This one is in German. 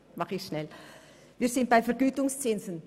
Wir sind bei den Vergütungszinsen.